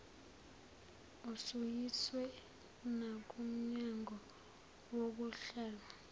usuyisiwe nakumnyango wokuhlelwa